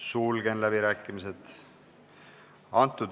Sulgen läbirääkimised.